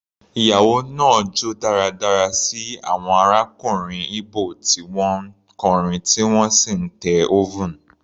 Ìyàwó náà jó dáradára sí àwọn arákùnrin Igbo tí wọ́n ń kọrin tí wọ́n sì ń te oven.